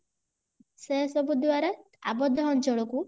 ସେସବୁ ଦ୍ଵାରା ଅବଦ୍ଧ ଅଞ୍ଚଳ କୁ